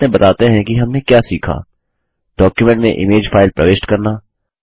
संक्षिप्त में बताते हैं कि हमने क्या सीखा डॉक्युमेंट में इमेज फाइल प्रविष्ट करना